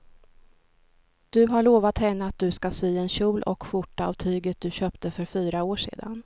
Du har lovat henne att du ska sy en kjol och skjorta av tyget du köpte för fyra år sedan.